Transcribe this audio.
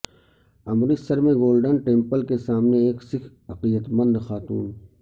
امرتسر میں Golden Temple کے سامنے ایک سکھ عقیدت مند خاتون